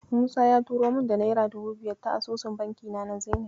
Musa ya turo min da naira dubu biyar ta asusun bankina na Zenit.